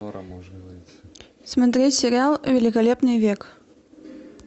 смотреть сериал великолепный век